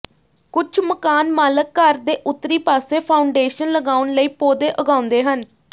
ਕੁਝ ਮਕਾਨਮਾਲਕ ਘਰ ਦੇ ਉੱਤਰੀ ਪਾਸੇ ਫਾਊਂਡੇਸ਼ਨ ਲਗਾਉਣ ਲਈ ਪੌਦੇ ਉਗਾਉਂਦੇ ਹਨ